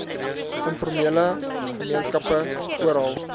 informele gemeenskappe oral